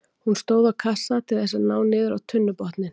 Hún stóð á kassa til þess að ná niður á tunnubotninn.